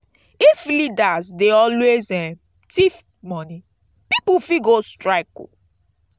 if leaders dey always um thief money pipo fit go strike.